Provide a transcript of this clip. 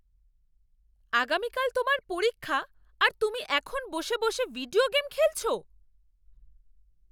আগামীকাল তোমার পরীক্ষা আর তুমি এখন বসে বসে ভিডিও গেম খেলছো?